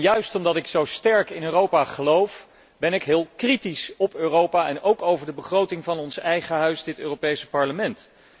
Juist omdat ik zo sterk in Europa geloof, ben ik heel kritisch op Europa en ook over de begroting van onze eigen instelling, het Europees Parlement.